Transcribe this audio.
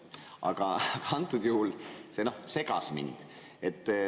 Aga antud juhul see segas mind.